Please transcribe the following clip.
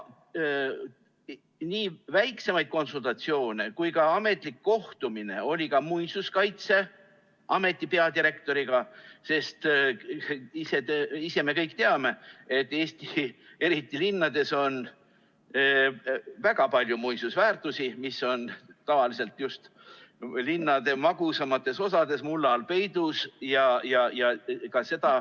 Nii väiksemaid konsultatsioone kui ka ametlik kohtumine oli Muinsuskaitseameti peadirektoriga, sest me kõik teame, et eriti Eesti linnades on väga palju muinsusväärtusi, mis on tavaliselt just linnade magusamates osades mulla all peidus.